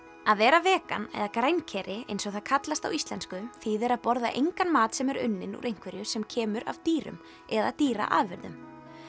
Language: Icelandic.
að vera vegan eða eins og það kallast á íslensku þýðir að borða engan mat sem er unninn úr einhverju sem kemur af dýrum eða dýraafurðum